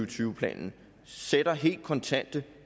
tyve planen sætter helt kontante